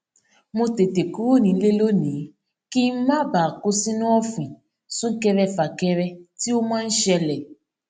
mo tètè kúrò nílé lónìí kí n má bàa kó sinu òfìn sunkerefakere tí o máa ń ṣele